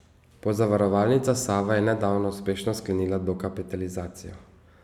Pozavarovalnica Sava je nedavno uspešno sklenila dokapitalizacijo.